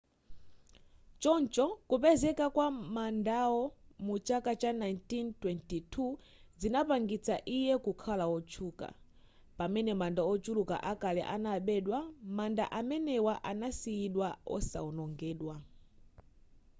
choncho kupezeka kwa mandawo mu chaka cha 1922 zinapangitsa iye kukhala wotchuka pamene manda ochuluka akale anabedwa manda amenewa anasiyidwa osawonongedwa